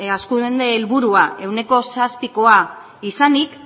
hazkunde helburua ehuneko zazpikoa izanik